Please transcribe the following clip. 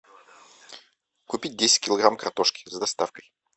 купить десять килограмм картошки с доставкой